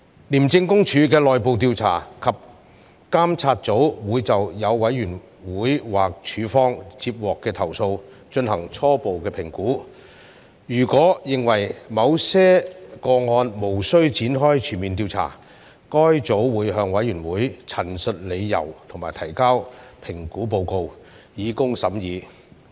廉政公署的內部調查及監察組會就所有委員會或署方接獲的投訴進行初步評估，如果認為某些個案無須展開全面調查，該組會向委員會陳述理由及提交評估報告，以供審議。